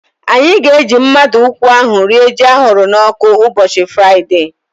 Anyị ga-eji mmadụ nkwụ ahu rie ji ahụrụ n'ọkụ ụbọchị Fraịdee